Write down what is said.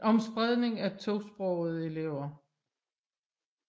om spredning af tosprogede elever